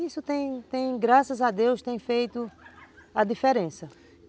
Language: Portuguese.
Isso tem tem, graças a Deus, tem feito a diferença.